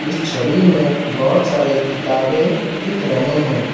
इस छवि में बहोत सारे किताबें दिख रहे हैं।